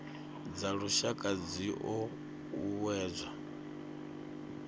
dza lushaka dzi o uuwedzwa